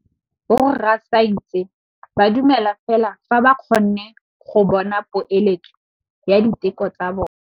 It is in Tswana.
Borra saense ba dumela fela fa ba kgonne go bona poeletsô ya diteko tsa bone.